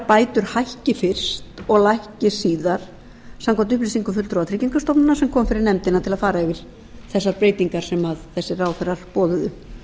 bætur hækki fyrst og lækki síðar samkvæmt upplýsingum fulltrúa tryggingastofnunar sem kom fyrir nefndina til að fara yfir þessar breytingar sem þessir ráðherrar boðuðu